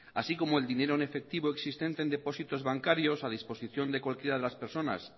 así como el dinero en efectivo existente en depósitos bancarios a disposición de cualquiera de las personas